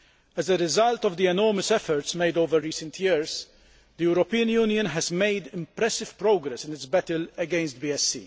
As a result of the enormous efforts made over recent years, the European Union has made impressive progress in its battle against BSE.